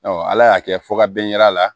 ala y'a kɛ fo ka bɛn a la